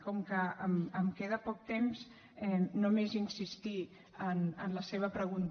com que em queda poc temps només insistir en la seva pregunta